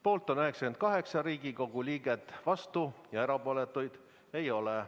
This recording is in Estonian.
Poolt on 88 Riigikogu liiget, vastuolijaid ega erapooletuid ei ole.